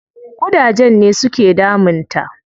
Ƙudajen ne su ke damun ta.